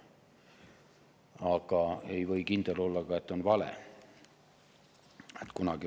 Aga ei või ka kindel olla, et see on vale.